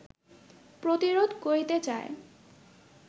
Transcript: প্রতিরোধ করিতে চায়